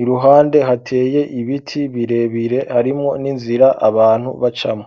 iruhande hateye ibiti birebire harimwo n'inzira abantu bacamwo.